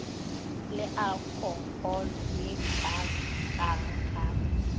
le alkoholo ye kaakang ka